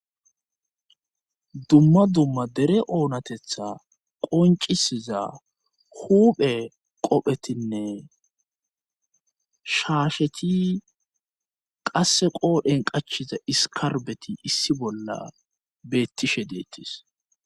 dumma dumma dere oonatetha qoncisiza huphe qophetinne shaasheti qasse qoodhen qachiza iskarbeti issi bolla beettishe deettis